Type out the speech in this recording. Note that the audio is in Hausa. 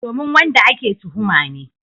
Domin wanda ake tuhuma ne.